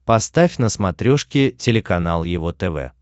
поставь на смотрешке телеканал его тв